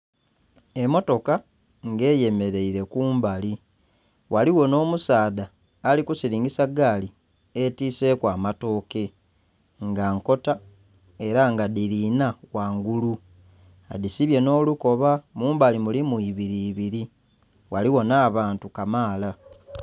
Emmotoka ng'eyemeleire kumbali. Ghaligho nh'omusaadha ali kusilingisa gaali etiiseku amatooke, nga nkota ela nga dhili inha ghangulu. Adhisibye nh'olukoba, mumbali mulimu ibili ibili. Ghaligho nh'abantu kamaala.